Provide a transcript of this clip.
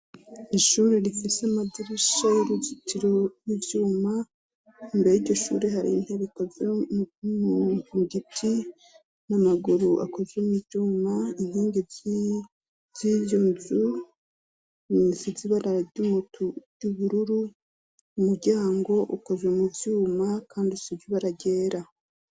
Ishuri rifise amadirusha y'uruzitiro y'ivyuma imbee y'iryishuri hari integikoze mu mugiti n'amaguru akoze mo iryuma intingi z'iryunzu misi zibarara ry'umuty'ubururu umuryango ukoze umuvyuma uma, kandi surjuba aragera.